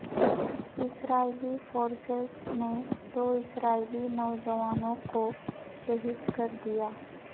اسرائیلی forces نے دو اسرائیلی نوجوانوں کو شہید کر دیا